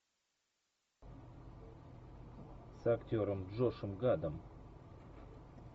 с актером джошем гадом